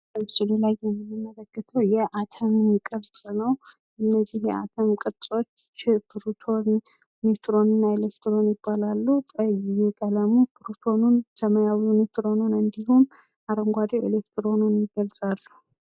በምስሉ ላይ የምንመለከተው የአተም ቅርጽ ነው። እነዚህ የአተም ቅርጾች ፕሮቶን ኒውትሮን እና ኢሌክትሮን ይባላሉ። ቀይ ቀለሙ ፕሮቶንን ሰማያዊው ኒውትሮኑን እንድሁም አረንጓዴው ኢሌክትሮኑን ይገልጻሉ።